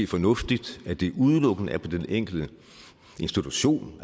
fornuftigt at det udelukkende er på den enkelte institution